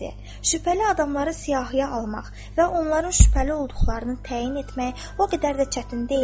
Şübhəli adamları siyahıya almaq və onların şübhəli olduqlarını təyin etmək o qədər də çətin deyildir.